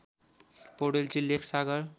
पौडेलजी Lekh सागर